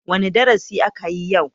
Wane darasi akayi yau?